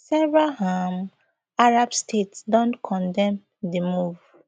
several um arab states don condemn di move